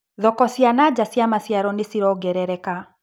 Thoko cia nanja cia maciaro nĩcirongerereka.